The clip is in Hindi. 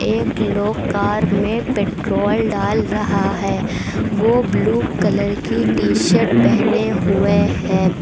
एक लोग कार में पेट्रोल डाल रहा है वो ब्लू कलर की टी शर्ट पहने हुए है।